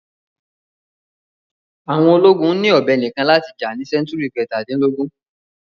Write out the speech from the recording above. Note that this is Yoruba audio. Àwọn ológun ni ọ̀bẹ nìkan láti jà ní sẹ́ńtúrì kẹ̀tadínlógún.